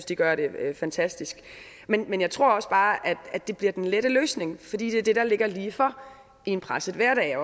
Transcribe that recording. de gør det fantastisk men jeg tror også bare at det bliver den lette løsning fordi det er det der ligger lige for i en presset hverdag